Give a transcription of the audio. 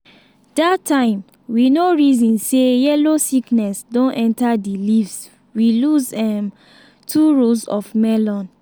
that time we no reason say yellow sickness don enter di leaves we lose um two rows of melon.